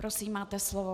Prosím, máte slovo.